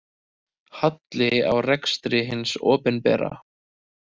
Halli á rekstri hins opinbera